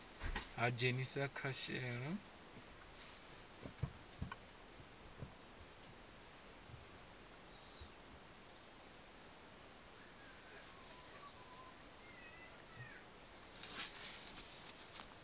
ha dzhenisa kha u shela